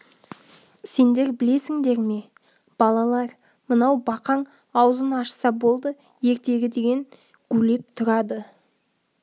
сендер білесіңдер ме балалар мынау бақаң аузын ашса болды ертегі деген гулеп тұрады